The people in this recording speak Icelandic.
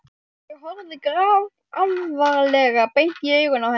Ég horfði grafalvarleg beint í augun á henni.